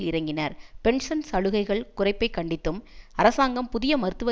இறங்கினர் பென்ஷன் சலுகைகள் குறைப்பை கண்டித்தும் அரசாங்கம் புதிய மருத்துவ